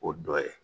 O dɔ ye